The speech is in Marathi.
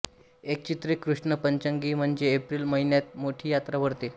एक चेत्र कृष्ण पंचमी म्हणजे एप्रिल महिन्यात मोठी यात्रा भरते